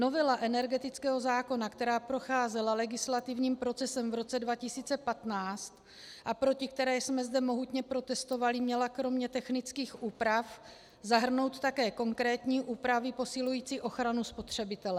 Novela energetického zákona, která procházela legislativním procesem v roce 2015 a proti které jsme zde mohutně protestovali, měla kromě technických úprav zahrnout také konkrétní úpravy posilující ochranu spotřebitele.